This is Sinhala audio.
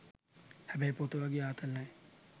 හැබැයි පොත වගේ ආතල් නෑ.